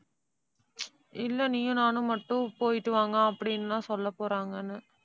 இல்லை நீயும் நானும் மட்டும் போயிட்டு வாங்க அப்படின்னு எல்லாம் சொல்லப் போறாங்கன்னு.